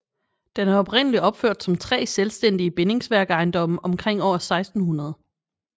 Den er oprindeligt opført som 3 selvstændige bindingsværk ejendomme omkring år 1600